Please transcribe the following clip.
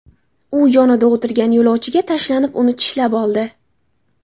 U yonida o‘tirgan yo‘lovchiga tashlanib, uni tishlab oldi.